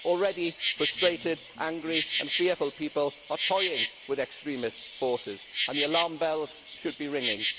Already frustrated, angry and fearful people are toying with extremist forces and the alarm bells should be ringing.